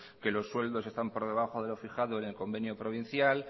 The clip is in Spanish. que los sueldos están por debajo de lo fijado en el convenio provincial